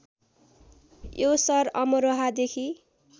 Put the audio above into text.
यो सहर अमरोहादेखि